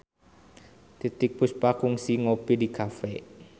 Titiek Puspa kungsi ngopi di cafe